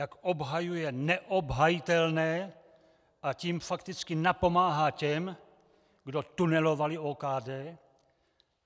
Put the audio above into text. Jak obhajuje neobhajitelné, a tím fakticky napomáhá těm, kdo tunelovali OKD.